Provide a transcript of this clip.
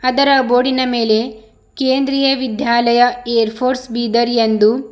ಅದರ ಬೋರ್ಡಿನ ಮೇಲೆ ಕೇಂದ್ರೀಯ ವಿದ್ಯಾಲಯ ಏರ್ಫೋರ್ಸ್ ಬೀದರ್ ಎಂದು--